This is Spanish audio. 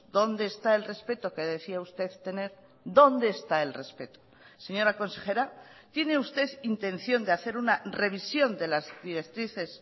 dónde está el respeto que decía usted tener dónde está el respeto señora consejera tiene usted intención de hacer una revisión de las directrices